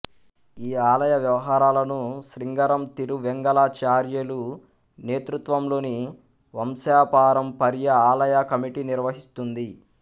ఈ ఆలయ వ్యవహారాలను శ్రీంగరం తిరువెంగలచార్యలు నేతృత్వంలోని వంశపారంపర్య ఆలయ కమిటీ నిర్వహిస్తుంది